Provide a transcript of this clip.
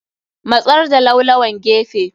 Matsar da laulawan gefe.